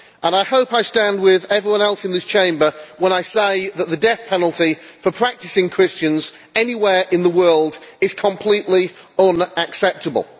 I hope that I stand with everyone else in this Chamber when I say that the death penalty for practising Christians anywhere in the world is completely unacceptable.